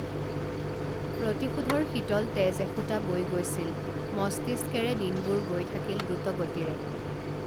প্ৰতিশোধৰ শীতল তেজ এসোঁতা বৈ গৈছিল মস্তিষ্কেৰে দিনবোৰ গৈ থাকিল দ্ৰুতগতিৰে